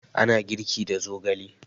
Ana girki da zogale